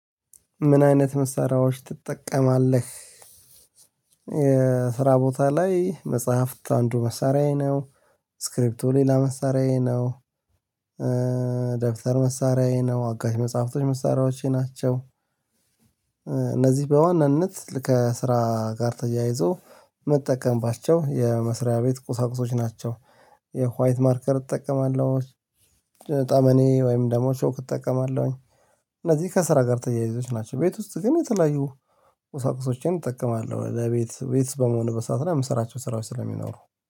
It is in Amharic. ምን አይነት መሳሪያዎች ትጠቀማለህ? የስራ ቦታ ላይ መጽሐፍት አንዱ መሳሪያዬ ነው። ስክሪፕቶ ሌላ መሳሪያዬ ነው። ደብተር መሳሪያዬ ነው አጋዥ መጽሐፍቶች መሳሪያዎቼ ናቸው። እነዚህ በዋናነት ከስራ ጋር ተያይዞ ምጠቀምባቸው የመስሪያ ቤት ቁሳቁሶች ናቸው። የዋይት ማርከር እጠቀማለሁ ጠመኔ ወይም ደግሞ ቾክ እጠቀማለሁኝ። እነዚህ ከስራ ጋር ተያይዞች ናቸው ቤት ውስጥ ግን የተለያዩ ቁሳቁሶችን እጠቀማለሁ። ለቤት ቤት በመሆን በሰአት እና የምሰራቸው ስራዎች ስለሚኖሩ